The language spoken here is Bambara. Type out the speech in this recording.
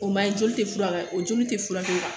O ma ɲi joli tɛ fura o joli tɛ furakɛ